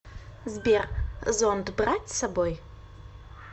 сбер зонт брать с собой